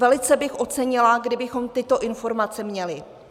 Velice bych ocenila, kdybychom tyto informace měli.